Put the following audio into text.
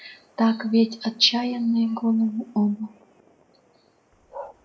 так ведь отчаянные голову оба